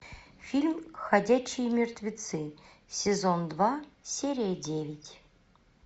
фильм ходячие мертвецы сезон два серия девять